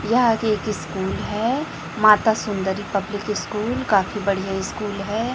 यह जो स्कूल है माता सुंदरी पब्लिक स्कूल काफी बढ़िया स्कूल है।